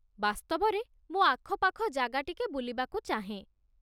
ବାସ୍ତବରେ, ମୁଁ ଆଖପାଖ ଜାଗା ଟିକେ ବୁଲିବାକୁ ଚାହେଁ।